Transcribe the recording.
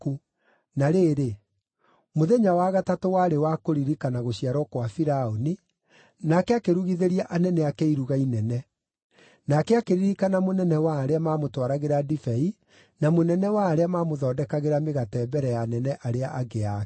Na rĩrĩ, mũthenya wa gatatũ warĩ wa kũririkana gũciarwo kwa Firaũni, nake akĩrugithĩria anene ake iruga inene. Nake akĩririkana mũnene wa arĩa maamũtwaragĩra ndibei na mũnene wa arĩa maamũthondekagĩra mĩgate mbere ya anene arĩa angĩ ake: